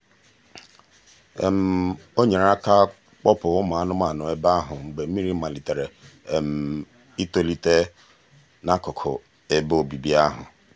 o nyere aka kpọpụ ụmụ anụmanụ ebe ahụ mgbe mmiri malitere itolite n'akụkụ ebe obibi ahụ.